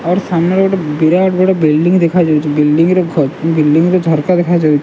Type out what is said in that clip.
ଆଉ ଗୋଟେ ସାମ୍ନାରେ ଗୋଟେ ବିରାଟ ବଡ଼ ବିଲ୍ଡିଙ୍ଗ ଦେଖା ଯାଉଚି। ବିଲ୍ଡିଙ୍ଗ ର ଘ ବିଲ୍ଡିଙ୍ଗ ର ଝର୍କା ଦେଖା ଯାଉ --